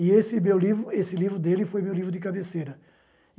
E esse meu livro, esse livro dele foi meu livro de cabeceira.